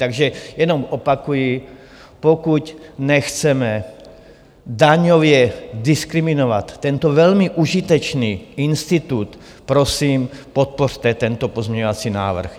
Takže jenom opakuji, pokud nechceme daňově diskriminovat tento velmi užitečný institut, prosím, podpořte tento pozměňovací návrh.